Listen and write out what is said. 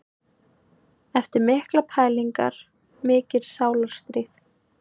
Eftir miklar pælingar, mikið sálarstríð.